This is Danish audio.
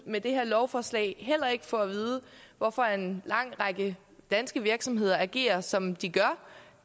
med det her lovforslag få at vide hvorfor en lang række danske virksomheder agerer som de gør